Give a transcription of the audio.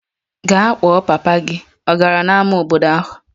Gaa kpọọ papa gị! Ọ gara n'ámá obodo ahụ.